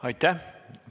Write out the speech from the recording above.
Aitäh!